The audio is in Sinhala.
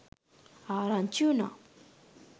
ආරංචි වුණා.